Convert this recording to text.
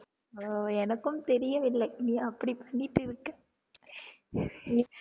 ஆஹ் எனக்கும் தெரியவில்லை நீ அப்படி பண்ணிட்டு இருக்க